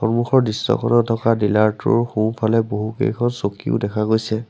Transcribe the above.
সন্মুখৰ দৃশ্যখনত থকা ডিলাৰটোৰ সোঁফালে বহুকেইখন চকীও দেখা গৈছে।